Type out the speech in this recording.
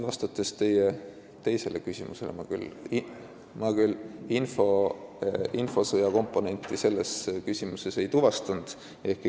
Vastan nüüd teie teisele küsimusele, ehkki ma küll selles küsimuses infosõja komponenti ei tuvastanud.